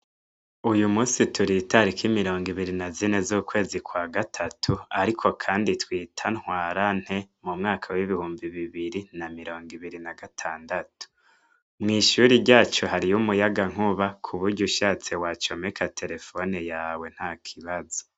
Uyu munsi turi itariki mirongo ibiri na zine z'ukwezi kwa gatatu, ariko kandi twita ntwara nte mu mwaka w'ibihumbi bibiri na mirongo ibiri na gatandatu. Mw'ishuri ryacu hariyo umuyagankuba ku buryo ushatse wa comeka terefone yawe nta kibazo.